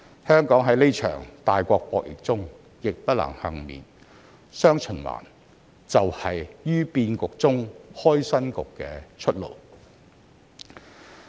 香港在這場大國博弈中亦不能幸免，"雙循環"就是"於變局中開新局"的出路。